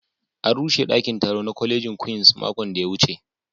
An rushe daƙin taro na ƙwalejin Queens maƙon da ya wuce